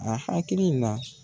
A hakiliki la